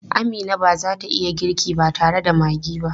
Amina ba za ta iya girki ba tare da maggi ba.